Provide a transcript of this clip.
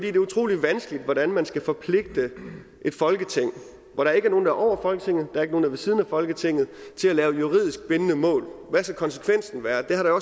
er utrolig vanskeligt hvordan man skal forpligte et folketing hvor der ikke er nogen der er over folketinget og der ikke der er ved siden af folketinget til at lave juridisk bindende mål hvad skal konsekvensen være det har der